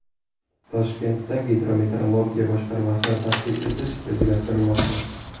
Toshkentda gidrometeorologiya boshqarmasini tashkil etish rejalashtirilmoqda.